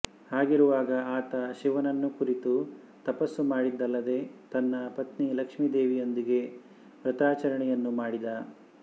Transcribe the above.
ಹಾಗಿರುವಾಗ ಆತ ಶಿವನನ್ನು ಕುರಿತು ತಪಸ್ಸು ಮಾಡಿದಲ್ಲದೆ ತನ್ನ ಪತ್ನಿ ಲಕ್ಷೀದೇವಿಯೊಂದಿಗೆ ವ್ರತಾಚರಣೆಯನ್ನೂ ಮಾಡಿದ